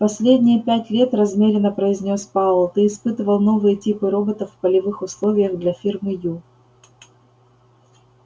последние пять лет размеренно произнёс пауэлл ты испытывал новые типы роботов в полевых условиях для фирмы ю